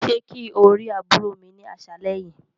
Ṣe kí o ri àbúrò mi ni aṣalẹ yìí.